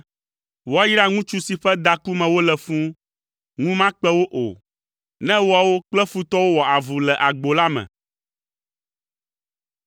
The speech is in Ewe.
Woayra ŋutsu si ƒe daku me wole fũu. Ŋu makpe wo o, ne woawo kple futɔwo wɔ avu le agbo la me.